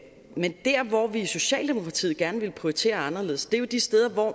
men der hvor vi i socialdemokratiet gerne vil prioritere anderledes er jo de steder hvor